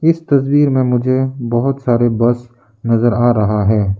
इस तस्वीर में मुझे बहुत सारे बस नजर आ रहा है।